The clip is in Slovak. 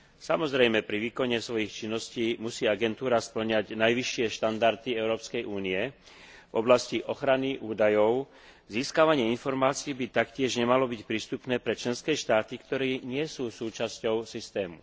Samozrejme pri výkone svojich činností musí agentúra spĺňať najvyššie štandardy Európskej únie v oblasti ochrany údajov. Získavanie informácií by taktiež nemalo byť prístupné pre členské štáty, ktoré nie sú súčasťou systému.